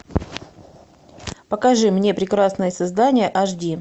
покажи мне прекрасное создание аш ди